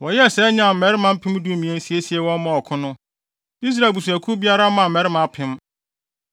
Wɔyɛɛ saa nyaa mmarima mpem dumien siesie wɔn maa ɔko no; Israel abusuakuw biara maa mmarima apem.